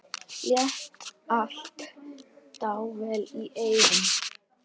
Lét allt dável í eyrum.